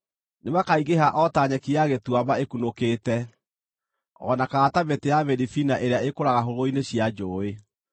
Nĩmakaingĩha o ta nyeki ya gĩtuamba ĩkunũkĩte, o na kana ta mĩtĩ ya mĩribina ĩrĩa ĩkũraga hũgũrũrũ-inĩ cia njũũĩ.